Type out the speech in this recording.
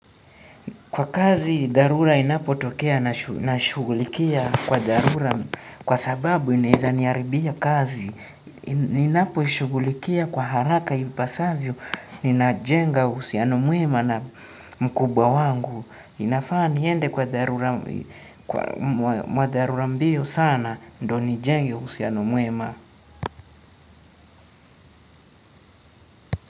Kwa kazi, dharura inapotokea nashughulikia kwa dharura, kwa sababu inaeza niharibia kazi. Ninapoishughulikia kwa haraka ipasavyo, inajenga uhusiano mwema na mkubwa wangu. Inafaa niende kwa dharura mbio sana, ndo nijenge uhusiano mwema.